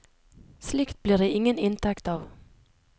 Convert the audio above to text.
Slikt blir det ingen inntekt av.